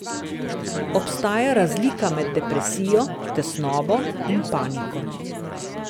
Obstaja razlika med depresijo, tesnobo in paniko.